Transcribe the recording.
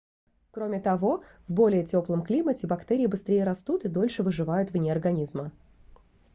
кроме того в более теплом климате бактерии быстрее растут и дольше выживают вне организма